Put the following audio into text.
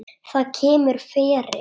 Það kemur fyrir.